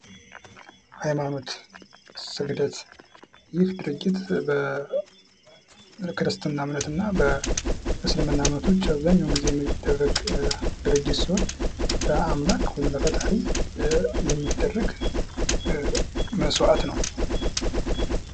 ሐይማኖት ስግደት ይህ ድርጊት በክርስትና እምነትና እስልምና እምነቶች አብዛኛውን ጊዜ የሚደረግ ድርጊት ሲሆን ለአምላክ ወይም ለፈጣሪ የሚደረግ መስዋዕት ነው።